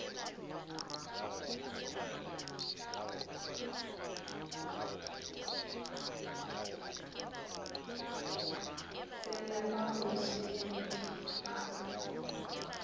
tsena ba o senyelet ga